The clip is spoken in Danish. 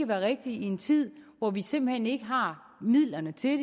være rigtigt i en tid hvor vi simpelt hen ikke har midlerne til det